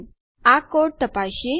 ઠીક છે તો ચાલો આ કોડ તપાસીએ